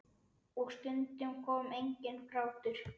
Og stundum kom enginn grátur.